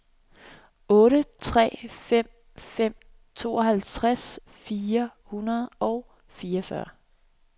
otte tre fem fem tooghalvtreds fire hundrede og fireogfyrre